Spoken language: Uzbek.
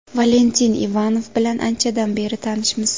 Valentin Ivanov bilan anchadan beri tanishmiz.